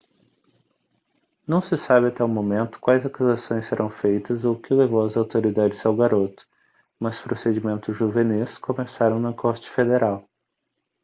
não se sabe até o momento quais acusações serão feitas ou o que levou as autoridades ao garoto mas procedimentos juvenis começaram na corte federal